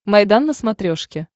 майдан на смотрешке